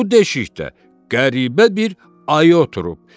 Bu deşikdə qəribə bir ayı oturub.